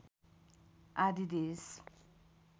आदि देश